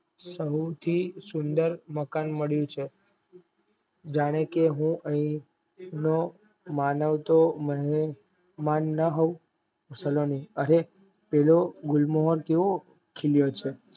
સવથી સુંદર મકાન મળ્યું છે જાનેકે હું આયા નો મનાવતો સલોની અરે પેલો ગુલમોહર કેવો ખીલ્યો છે